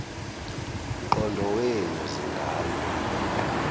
mqondo wenu zingane